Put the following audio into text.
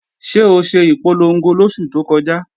Ṣé o ṣe ìpolongo lóṣù tó kọjá?